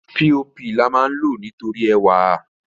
píopì lama lò nítorí ẹwà rè.